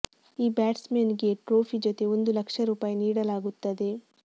ಈ batsmen ಗೆ trophy ಜೊತೆ ಒಂದು ಲಕ್ಷ ರೂಪಾಯಿ ನೀಡಲಾಗುತ್ತದೆ